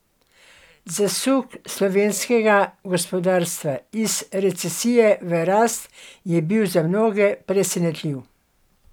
Zasuk slovenskega gospodarstva iz recesije v rast je bil za mnoge presenetljiv.